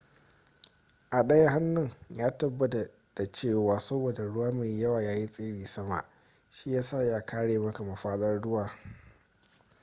a daya hannun ya tabbata cewa saboda ruwa mai yawa yayi tsiri sama shi yasa ya kare maka mafadar ruwa